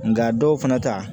Nga dɔw fana ta